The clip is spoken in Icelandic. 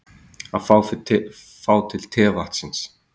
Að fá til tevatnsins